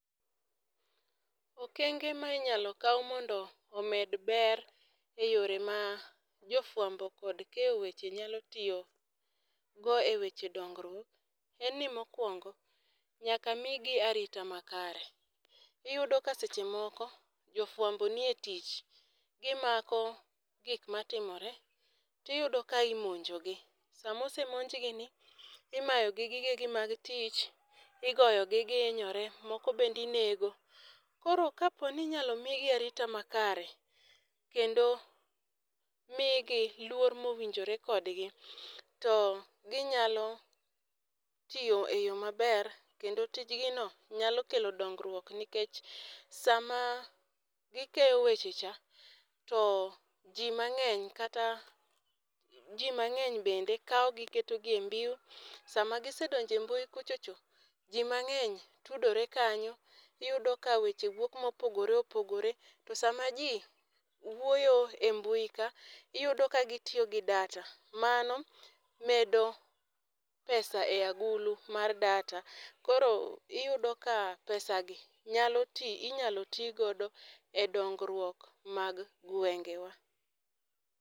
Okenge ma inyalo kao mondo omed ber e yore ma jo fwambo kod keyo weche nyalo tiyo go e weche dongruok en ni mokuongo nyaka mi gi arita ma kare, iyudo ka seche moko jo fwambo ni e tich gi mako gik ma timore ti iyudo ka imonjo gi . Sa ma osemonj gi ni imayo gi gige mag tich, igoyo gi gi inyore moko bende inego. Koro ka po ni inyalo mi gi arita ma kare ,kendo mi gi luor ma owinjore kod gi to gi nyalo tiyo e yo ma ber kendo tij gi no nyalo kelo dongruok nikech sa ma gi keyo weche cha to ji mang'eny kata ji mang'eny bende kao gi keto gi e mbui sa ma gi sedonjo e mbui kuchocho ji mang'eny tudore kanyo iyudo ka weche wuok ma opogore opogore. To sa ma ji wuoyo e mbui ka iyudo ka gi tiyo gi data mano medo pesa e agulu mar data kro iyudo ka pesa gi nyalo inyalo ti gido e dongruok mar gwengewa.